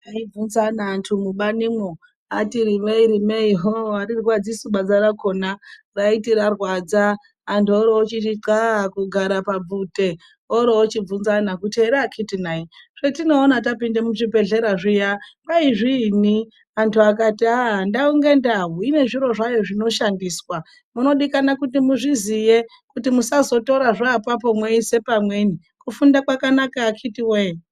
Ndaibvunzana neanhu mubanimwo ati rimei, rimei hoo arirwadzi su banza rakona raiti rarwadza anhu oroochiti xaa kugara pabvute oroochibvunzana kuti here akiti nayi zvatinoone muchibhehleya zviya kwai zviinyi ,antu akati aah ndau ngendau inezviro zvayo zvinoshandiswa munodikanwa kuti muzviziye kuti musazotorahe apapo mweisepamweni kufunda kwakanaka akiti woye!